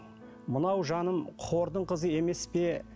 мынау жаным қордың қызы емес пе